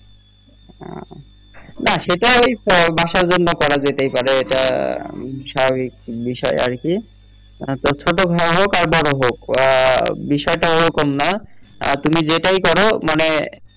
না সেটা ঐ বাসার জন্য করা যেতেই পারে এটা স্বাভাবিক বিষয় আরকি তো ছোট হোক আর বড় হোক আ বিষয়টা এরকম না তুমি যেটাই কর মানে